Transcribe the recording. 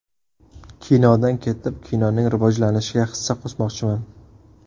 Kinodan ketib, kinoning rivojlanishiga hissa qo‘shmoqchiman.